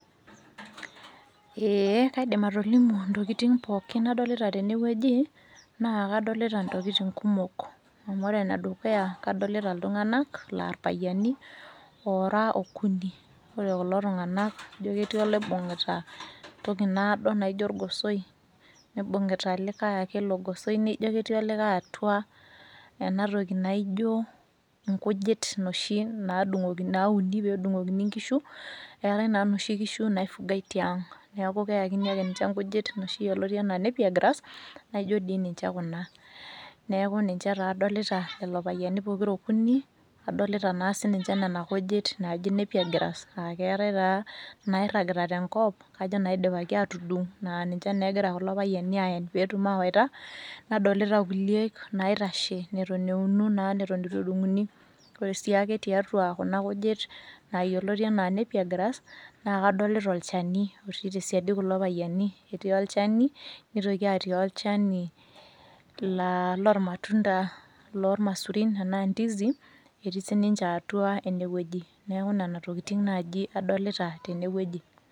Eeh kaidim ntokitin pooki nadolita tenewueji naakadolita ntokitin kumok. Amu ore enedukuya kadolita iltung'anak laa irpayiani oora okuni. Ore kulo tung'anak ijo ketii oloibung'ita toki naado naijo orgosoi neibung'ita likae ake ilo gosoi nijo ketii olikae atua enatoki naaijo nkujit noshi nadung'okini naauni peedung'okini nkishu. Eetai naa noshi kishu naifugai tiang' neaku keakini ake ninche nkujit noshi yoloti anaa nappier grass naaijo dii ninche kuna. Neaku ninche taa adolita lelo payiani pokira okuni adolita naa sininche nena kujit naaji nappier grass aaketai taa nairragita tenkop kajo naidipaki atudung' naa ninche naa egira kulo payiani aen peetum awaita nadolita kuliek naitashe neton euno naa neitu edung'uni. Ore sii ake tiatua kuna kujit naa yoloti anaa nappier grass naakadolita olchani otii tesiadi kulo payiani, etii olchani neitoki atii olchanii laa lormatunda loolmasurin anaa ndizi etii sininche atua enewueji neaku nena tokitin naaji adolita tenewueji.